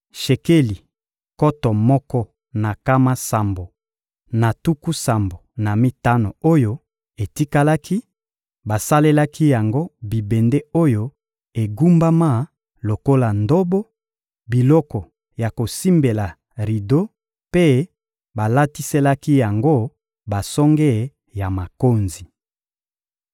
Shekeli nkoto moko na nkama sambo na tuku sambo na mitano oyo etikalaki, basalelaki yango bibende oyo egumbama lokola ndobo, biloko ya kosimbela rido mpe balatiselaki yango basonge ya makonzi.